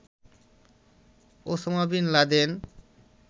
Osama bin Laden